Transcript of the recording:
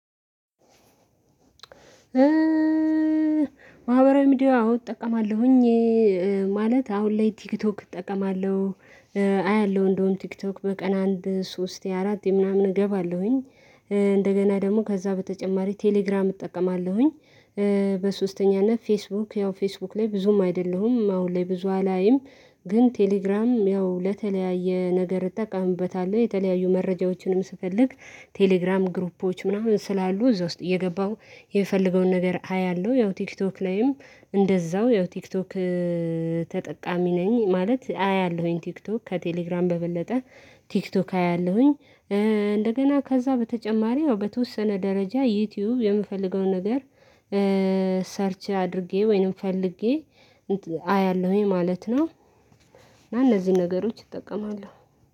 ማህበራዊ ሚዲያ አዎ እጠቀማለሁኝ። ማለት አሁን ላይ ቲክቶክ እጠቀማለሁ፤ አያለሁ እንደውም ቲክቶክ በቀን አንድ ሶስት የአራት ምናምን እገባለሁኝ፤ እንደገና ደግሞ ከዛ በተጨማሪ ቴሌግራም እጠቀማለሁኝ። በሶስተኛነት ፌስቡክ ያው ፌስቡክ ላይ ብዙም አይደለሁም አሁን ላይ ብዙ አላይም ግን ቴሌግራም ያው ለተለያየ ነገር እጠቀሙበታለሁ፤ የተለያዩ መረጃዎችንም ስፈልግ ቴሌግራም ግሩፖች ምናምን ስላሉ እዛ ውስጥ እየገባሁ የፈለገውን ነገር አያለሁ ያው ቲክቶክ ላይም እንደዛው ያው ቲክቶክ ተጠቃሚ ነኝ ማለት አያለሁኝ ቲክቶክ ከቴሌግራም በበለጠ ቲክቶክ አያለሁኝ። እንደገና ከዛ በተጨማሪ በተወሰነ ደረጃ ዩቲዩብ የምፈልገው ነገር ሰርች አድርጌ ወይንም ፈልጌ አያለሁኝ ማለት ነው እና እነዚህን ነገሮች እጠቀማለሁ።